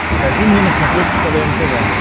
покажи мне на смотрешке квн тв